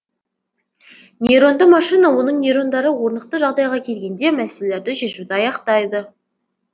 нейронды машина оның нейрондары орнықты жағдайға келгенде мәселелерді шешуді аяқтайды